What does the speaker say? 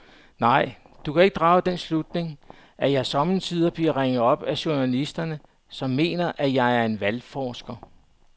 Nej, du kan drage den slutning, at jeg sommetider bliver ringet op af journalister, som mener, at jeg er valgforsker.